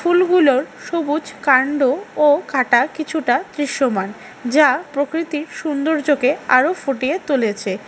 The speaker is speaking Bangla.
ফুলগুলোর সবুজ কান্ড ও কাটা কিছুটা দৃশ্যমান যা প্রকৃতির সৌন্দর্যকে আরো ফুটিয়ে তলেছে।